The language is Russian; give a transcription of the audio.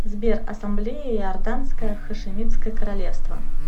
сбер ассамблея иорданское хашимитское королевство